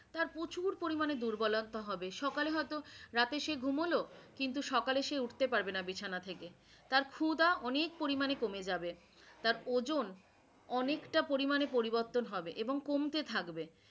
তার প্রচুর পরিমানে দুর্বলতা হবে, সকালে হয়তো, রাতে সে ঘুমোলো কিন্তু সকালে সে উঠতে পারবে না বিছানা থেকে, তার খুদা অনেক পরিমানে কমে যাবে, তার ওজন অনেকটা পরিমানে পরিবর্তন হবে এবং কমতে থাকবে